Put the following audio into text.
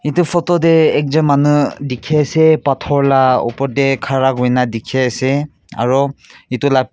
itu photo teh ekjun manu dikhi ase pathor opor teh khara kurina dikhi ase aro itu la.